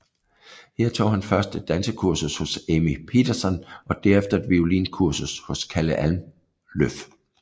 Her tog han først et dansekursus hos Ami Pettersson og herefter et violinkursus hos Kalle Almlöf